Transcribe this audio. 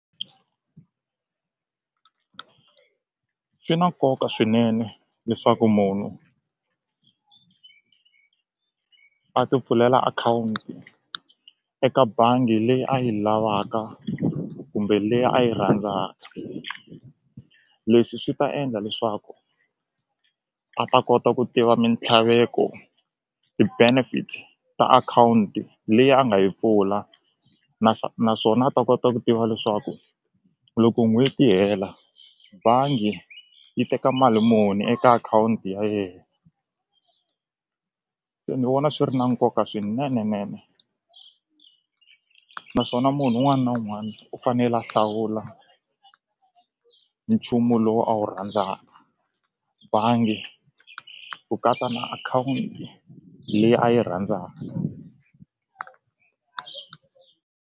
Swi na nkoka swinene leswaku munhu a ti pfulela akhawunti eka bangi leyi a yi lavaka kumbe leyi a yi rhandzaka leswi swi ta endla leswaku a ta kota ku tiva mintlhaveko ti-benefits ta akhawunti leyi a nga yi pfula naswona a ta kota ku tiva leswaku loko n'hweti yi hela bangi yi teka mali muni eka akhawunti ya yena se ni vona swi ri na nkoka swinene nene naswona munhu un'wana na un'wani u fanele a hlawula nchumu lowu a wu rhandzaka bangi ku katsa na akhawunti leyi a yi .